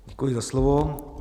Děkuji za slovo.